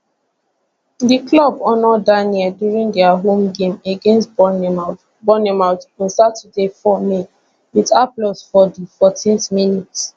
di club honour daniel during dia home game against bournemouth bournemouth on saturday 4 may wit applause for di 14th minute